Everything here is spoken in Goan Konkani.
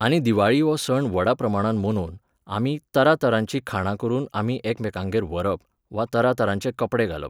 आनी दिवाळी हो सण व्हडा प्रमाणान मनोवन, आमी तरातरांचीं खाणां करून आमी एकमेकांगेर व्हरप, वा तरातरांचे कपडे घालप.